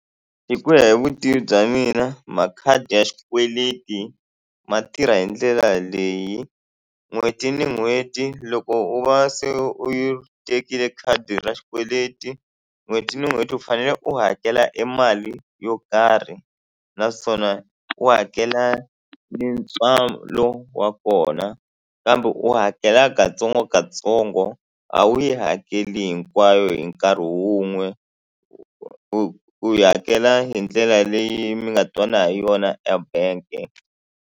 Hi ku ya hi vutivi bya mina makhadi ya xikweleti ma tirha hi ndlela leyi n'hweti ni n'hweti loko u va se u ri tekile khadi ra xikweleti n'hweti ni n'hweti u fanele u hakela e mali yo karhi naswona u hakela ni ntswalo wa kona kambe u hakela katsongokatsongo a wu yi hakeli hinkwayo hi nkarhi wun'we u yi hakela hi ndlela leyi mi nga twana hi yona ebank-e.